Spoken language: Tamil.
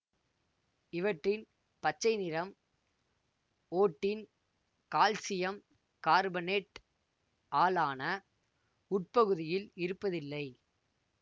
இவற்றின் பச்சை நிறம் ஓட்டின் கால்சியம் கார்பனேட் ஆல் ஆன உட்பகுதியில் இருப்பதில்லை